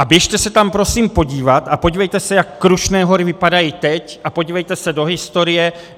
A běžte se tam prosím podívat a podívejte se, jak Krušné hory vypadají teď, a podívejte se do historie.